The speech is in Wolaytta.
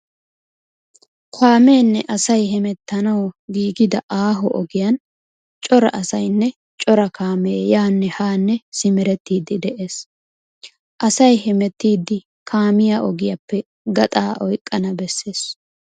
Kaameenne asay hemettanawu giigida aaho ogiyan cora asaynne cora kaamee yaanne haanne simerettiiddi de'ees. Asay hemettiiddi kaamiya ogiyappe gaxaa oyqqana bessees.